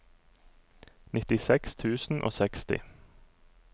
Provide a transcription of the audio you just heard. nittiseks tusen og seksti